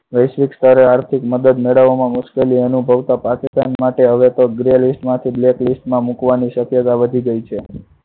વૈશ્વિક સ્તરે આર્થિક મદદ મેળવવા માં મુશ્કેલી અનુભવતા પાકિસ્તાન માટે હવે તો gray list માંથી black list માં મુકવાની શક્યતા વધી ગયી છે.